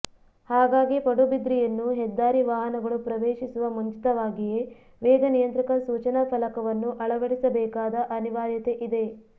ಹಾಗಾಗಿ ಪಡುಬಿದ್ರಿಯನ್ನು ಹೆದ್ದಾರಿ ವಾಹನಗಳು ಪ್ರವೇಶಿಸುವ ಮುಂಚಿತವಾಗಿಯೇ ವೇಗ ನಿಯಂತ್ರಕ ಸೂಚನಾ ಫಲಕವನ್ನು ಅಳವಡಿಸಬೇಕಾದ ಅನಿವಾರ್ಯತೆಯಿದೆ